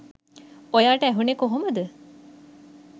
ඔයාට ඇහුනේ කොහොමද?